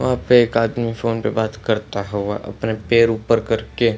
वहां पे एक आदमी फोन पे बात करता हुआ अपना पैर ऊपर करके --